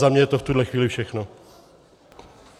Za mě je to v tuto chvíli všechno.